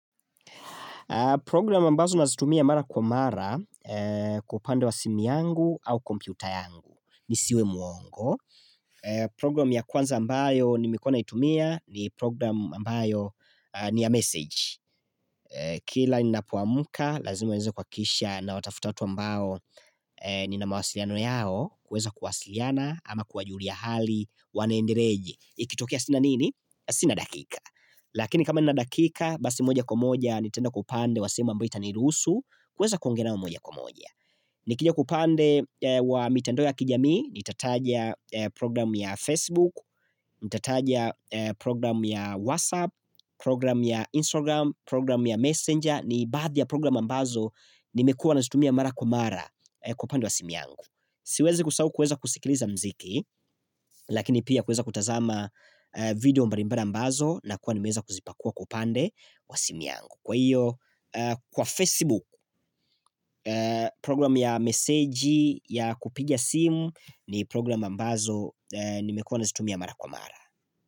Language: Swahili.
Program ambazo nazitumia mara kwa mara upande wa simu yangu au kompyuta yangu. Nisiwe muongo, program ya kwanza ambayo nimekuwa naitumia ni program ambayo ni ya meseji. Kila ninapoamka, lazima niweze kuhakisha nawatafuta watu ambao nina mawasiliano yao, kuweza kuwasiliana ama kuwajulia hali wanaendeleaje. Ikitokia sina nini? Sina dakika. Lakini kama na dakika basi moja kwa moja nitaenda upande simu ambayo itanirusu kuweza kuongea nao moja kwa moja Nikija kwa upande wa mitandao ya kijami nitataja program ya Facebook, nitataja program ya WhatsApp, program ya Instagram, program ya Messenger, ni baadhi ya program ambazo nimekuwa nazitumia mara kwa mara kwa upande wa simu yangu. Siwezi kusahau kuweza kusikiliza muziki Lakini pia kuweza kutazama video mbali mbali ambazo nakuwa nimeweza kuzipakua kwa upande kwa simu yangu. Kwa hiyo kwa Facebook program ya meseji ya kupigia simu ni program ambazo nimekuwa nazitumia mara kwa mara.